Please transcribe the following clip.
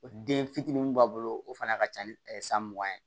O den fitinin mun b'a bolo o fana ka ca ni san mugan ye